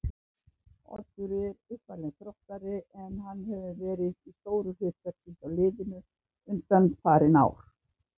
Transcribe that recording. Oddur er uppalinn Þróttari en hann hefur verið í stóru hlutverki hjá liðinu undanfarin ár.